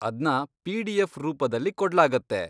ಅದ್ನ ಪಿ.ಡಿ.ಎಫ್. ರೂಪದಲ್ಲಿ ಕೊಡ್ಲಾಗತ್ತೆ.